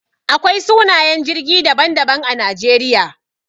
Akwai sunayen jirgi daban-daban a Najeriya.